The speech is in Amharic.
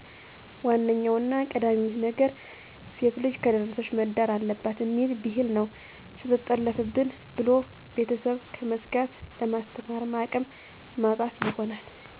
ዋነኛውና ቀዳሚው ነገር ሴትልጅ ከደረሰች መዳር አለባትእሚል ቢህል ነው ሰትጠለፋብን ብሎ ቤተስብ ከመስጋት ለማስተማርም አቅም ማጣት ይሆናል